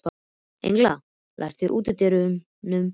Engla, læstu útidyrunum.